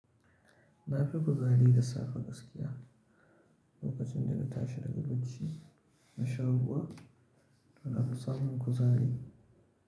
Na fi kuzari da safe gaskiya lokacin da na tashi daga bacci na sha ruwa, ana samun kuzari.